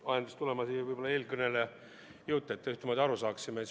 Mind ajendas tulema siia eelkõneleja jutt, et me ühtemoodi aru saaksime.